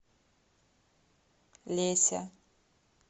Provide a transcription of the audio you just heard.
леся